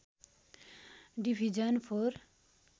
division four